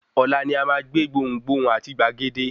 Ọ̀la ni a máa gbé gbohùn gbohùn àti gbàgede.